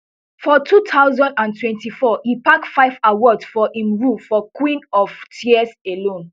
for two thousand and twenty-four e pack five awards for im role for queen of tears alone